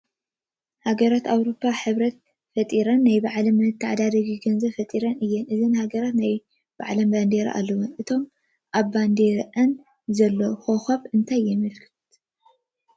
ሃገራት ኣውሮፓ ሕብረት መስሪተን ሓደ ናይ መተዓዳደጊ ገንዘብ ፈጢረን እየን፡፡ እዘን ሃገራት ናይ ባዕለን ባንዴራ ኣለወን፡፡ እቶም ኣብ ባንዲረአን ዘለዉ ኾኸባት ታይ የመልክቱ?